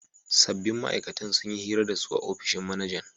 Sabbin ma'aikatan sun yi hira da su a ofishin manajan